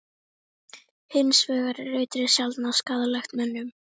Hins vegar er eitrið sjaldnast skaðlegt mönnum.